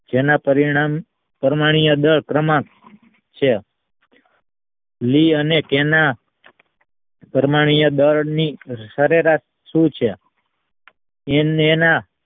જેના પરિણામ પરમાણીય દળ પ્રમાણ છે લઈ અને તેના પરમાણીય દળની સરેરાશ શું છે એમનેના